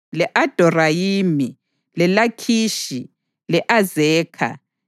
le-Adorayimi, leLakhishi, le-Azekha,